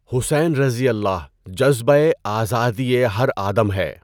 حسینؓ جذبۂ آزادئ ہر آدم ہے